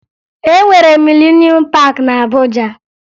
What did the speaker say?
E nwere Milenuum Paakị na Abuja